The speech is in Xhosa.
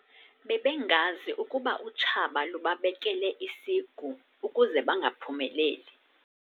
Bebengazi ukuba utshaba lubabekele isigu ukuze bangaphumeleli.